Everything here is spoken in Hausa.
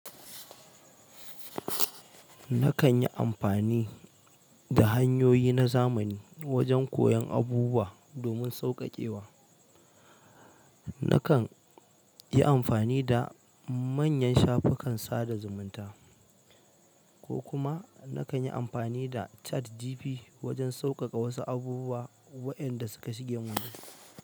Nakan yi amfani da hanyoyi na zamani wajen koyan abubuwa domin sauƙaƙewa. Nakan yi amfani da manyan shafukan sada zumunta, ko kuma nakan yi amfani da ChatGPT wajen sauƙaƙa wasu abubuwa waɗanda suka shige min duhu.